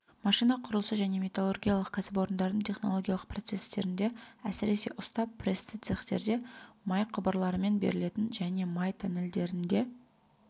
машина құрылысы және металлургиялық кәсіпорындардың технологиялық процесстерінде әсіресе ұста-прессті цехтерде май құбырларымен берілетін және май тоннельдерінде